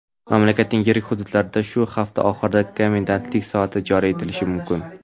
mamlakatning yirik hududlarida shu hafta oxirida komendantlik soati joriy etilishi mumkin.